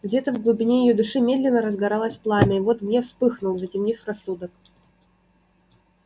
где-то в глубине её души медленно разгоралось пламя и вот гнев вспыхнул затемнив рассудок